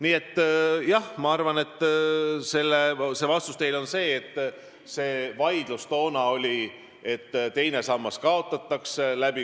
Nii et vastus teile on, et see vaidlus toona oli, kas teine sammas kaotatakse.